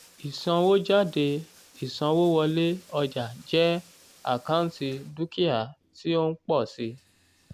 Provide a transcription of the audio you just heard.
ìsanwójáde ìsanwówọlé ọjà jẹ́ àkáǹtì dúkìá tí ó ń pọ̀ síi